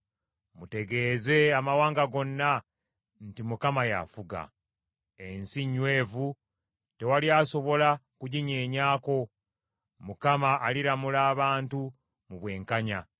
Mutegeeze amawanga gonna nti Mukama y’afuga. Ensi nnywevu, tewali asobola kuginyeenyaako; Mukama aliramula abantu mu bwenkanya.